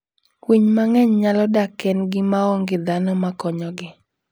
Winy mang'eny nyalo dak kendgi ma onge dhano ma konyogi.